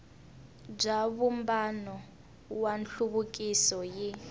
bya vumbano wa nhluvukiso yi